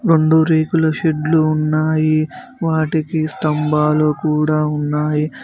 రెండు రేకుల షెడ్లు ఉన్నాయి వాటికి స్తంభాలు కూడా ఉన్నాయి.